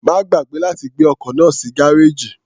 Má gbàgbé láti gbé ọkọ̀ náà sínú gárèjì.